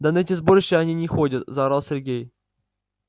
да на эти сборища они не ходят заорал сергей